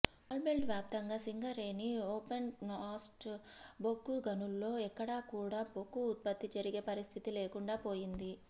coal belt వ్యాప్తంగా Singareni opencast బొగ్గు గనుల్లో ఎక్కడా కూడా బొగ్గు ఉత్పత్తి జరిగే పరిస్థితి లేకుండా పోయింది